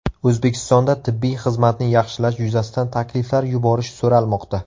O‘zbekistonda tibbiy xizmatni yaxshilash yuzasidan takliflar yuborish so‘ralmoqda.